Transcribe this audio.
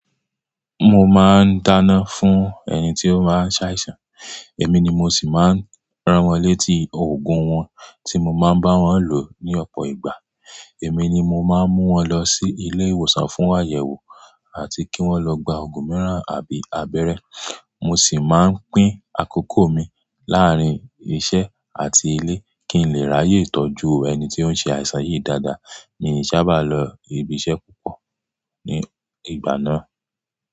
Mo máa ń dáná fún ẹni tí ó máa ń ṣàìsàn. Èmi ni mo sì máa ń rán wọn létí òògùn wọn tí mo máa ń bá wọn lò ní ọ̀pọ̀ ìgbà. Èmi ni mo máa ń mú wọn lọ sí ilé ìwòsàn fún àyẹ̀wò àti kí wọ́n lọ gba òògùn mìíràn àbí abẹ́rẹ́. Mo sì máa ń pín àkókò mi láàárín iṣẹ́ àti ilé kí n lè ráyè tọ́jú ẹni tí ó ń ṣe àìsàn yìí dáadáa. Mi ò sábà lọ ibi iṣẹ́ púpọ̀ ní ìgbà náà.